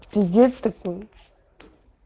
пиздец такой